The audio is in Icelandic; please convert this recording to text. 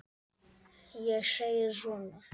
Ég segi svona.